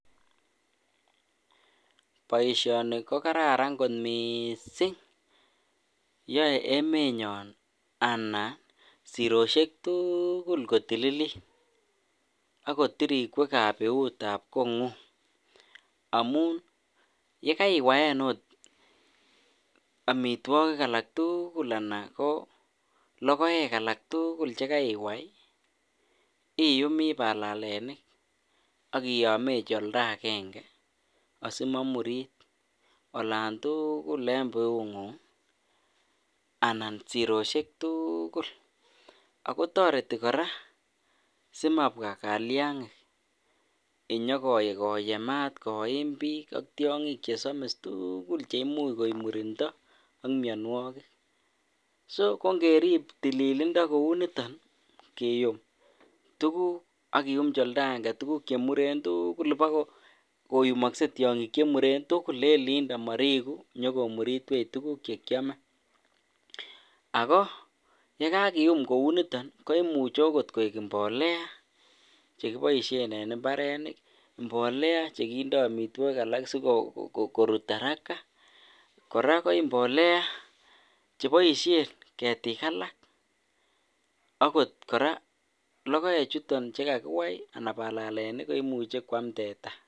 Boishoni ko kararan kot mising, yoe emenyon anan siroshek tukul kotililit ak kot tirikwekab biutab kongung amun yekaiwaen oot amitwokik alak tukul alaan lokoek alak tukul chekaiwai iyumi balalenik ak iyomechi oldakenge asimomurit olaan tukul en biungung anan siroshek tukul ak ko toreti kora simabwa kiliang'ik inyokoyemat koim biik ak tiong'ik chesomis tukul cheimuch koib murindo ak mionwokik, so ko ng'erib tililindo kouniton kiyum tukuk ak kiyumchi oldakenge tukuk chemuren tukul bokoyumokse tiong'ik chemuren tukul en olindo moriku nyokomuritwech tukuk chekiome ak ko yekakium kouniton koimuche okot koik mbolea chekiboishen en imbarenik, mbolea chekindo omitwokik alak sikorut araka kora ko mbolea cheboishen ketik alak akot kora lokoechuton chekakiwai anan balelenik komuche kwam teta.